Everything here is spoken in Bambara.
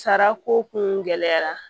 Sara ko kun gɛlɛyara